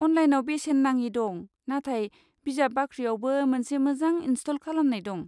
अनलाइनआव बेसेन नाङि दं, नाथाय बिजाब बाख्रियावबो मोनसे मोजां इनस्ट'ल खालामनाय दं।